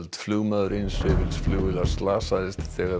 flugmaður eins hreyfils flugvélar slasaðist þegar